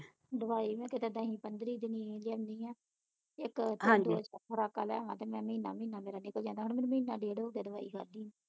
ਦੁਆਈ ਮੈਂ ਕਿਸੇ ਦਿਨੀ ਪੰਦਰੀ ਦਿਨੀ ਲਿਆਉਂਦੀ ਆ ਇਕ ਖੁਰਾਕਾਂ ਲਿਆਵਾ ਤੇ ਮੈਂ ਮਹੀਨਾ ਮਹੀਨਾ ਮੇਰਾ ਨਿਕਲ ਜਾਂਦਾ ਹੁਣ ਮੈਨੂੰ ਮਹੀਨਾ ਡੇਢ ਹੋ ਗਿਆ ਦਵਾਈ ਖਾਧੇ ਨੂੰ